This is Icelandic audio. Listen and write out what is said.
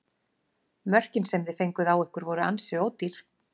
Mörkin sem þið fenguð á ykkur voru ansi ódýr?